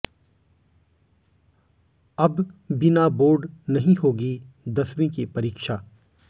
अब बिना बोर्ड नहीं होगी दसवीं की परीक्षा